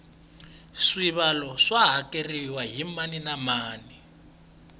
swibalo swa hakeriwa hi mani na mani